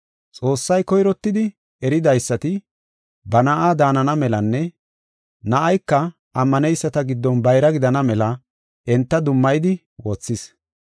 Xoossay koyrottidi eridaysati ba Na7aa daanana melanne na7ayka ammaneyisata giddon bayra gidana mela enta dummayidi wothis.